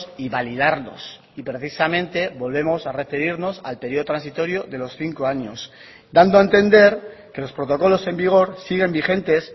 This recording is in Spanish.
y validarlos y precisamente volvemos a referirnos al periodo transitorio de los cinco años dando a entender que los protocolos en vigor siguen vigentes